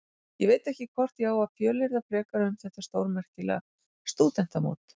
Ég veit ekki hvort ég á að fjölyrða frekar um þetta stórmerkilega stúdentamót.